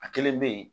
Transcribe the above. A kelen bɛ yen